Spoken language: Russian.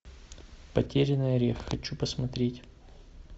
потерянный орех хочу посмотреть